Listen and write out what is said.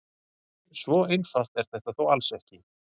svo einfalt er þetta þó alls ekki